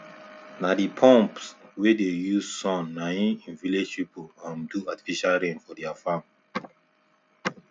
na the pumps wey dey use sunna him village people um do artificial rain for their farm